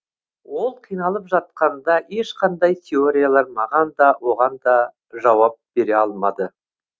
ол қиналып жатқанда ешқандай теориялар маған да оғанда жауап бере алмады